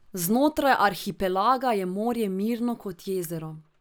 Znotraj arhipelaga je morje mirno kot jezero.